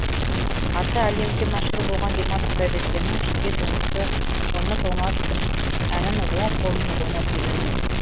аты әлемге мәшһүр болған димаш құдайбергеннің жеке туындысы ұмытылмас күн әнін оң қолмен ойнап үйрендім